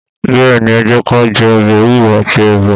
Bẹ́ẹ̀ni, ẹ jẹ kà jẹ ọ̀bẹ ẹwùro àtí ẹbà.